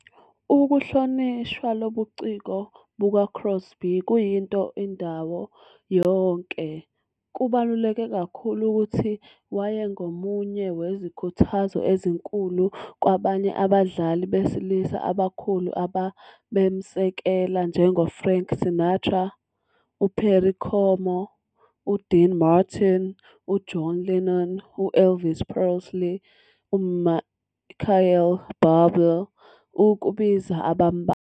Ukuhlonishwa kobuciko bukaCrosby kuyinto indawo yonke, kubaluleke kakhulu ukusho ukuthi wayengomunye wezikhuthazo ezinkulu kwabanye abadlali besilisa abakhulu ababemsekela, njengoFrank Sinatra, uPerry Como, uDean Martin, uJohn Lennon, U-Elvis Presley, uMichael Bublé ukubiza abambalwa.